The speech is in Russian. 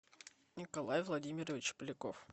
николай владимирович поляков